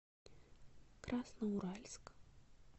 красноуральск